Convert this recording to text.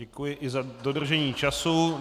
Děkuji i za dodržení času.